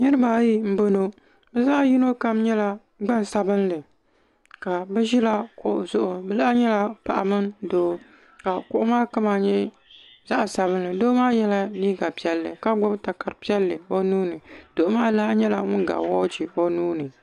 Niriba ayi m boŋɔ bɛ zaɣa yino kam nyɛla gbansabinli ka bɛ ʒila kuɣu zuɣu bɛ laha nyɛla paɣa mini doo ka kuɣu zuɣu doo maa yela liiga piɛlli ka gbibi takara piɛlli o nuuni doo maa lahi nyɛla ŋun ga woochi o nuuni.